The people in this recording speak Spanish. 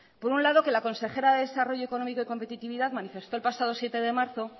por un lado que la consejera de desarrollo económico y competitividad manifestó el pasado siete de marzo